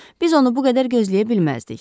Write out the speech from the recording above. Biz onu bu qədər gözləyə bilməzdik.